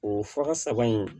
O fa saba in